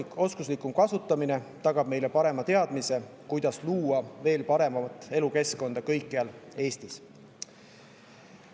Andmete oskuslikum kasutamine tagab meile parema teadmise, kuidas luua veel paremat elukeskkonda kõikjal Eestis.